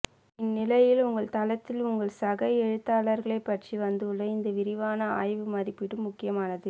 இந்நிலையில் உங்கள் தளத்தில் உங்கள் சக எழுத்தாளர்களைப் பற்றி வந்துள்ள இந்த விரிவான ஆய்வு மதிப்பீடு முக்கியமானது